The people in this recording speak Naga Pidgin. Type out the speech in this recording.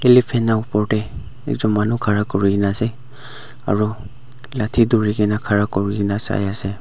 elephant la opor tae ekjon khara kurina ase aru lathi dhurikaena khara kurina saiase